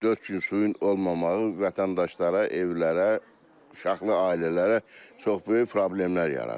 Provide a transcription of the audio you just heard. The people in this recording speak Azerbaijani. Dörd gün suyun olmamağı vətəndaşlara, evlərə, uşaqlı ailələrə çox böyük problemlər yaradır.